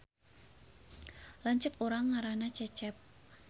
Lanceuk urang ngaranna Cecep